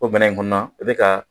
O minɛn in kɔnna i bɛ ka